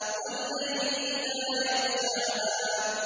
وَاللَّيْلِ إِذَا يَغْشَاهَا